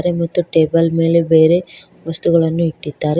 ಮತ್ತು ಟೇಬಲ್ ಮೇಲೆ ಬೇರೆ ವಸ್ತುಗಳನ್ನು ಇಟ್ಟಿದ್ದಾರೆ.